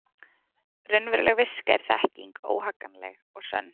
Raunveruleg viska er þekking, óhagganleg og sönn.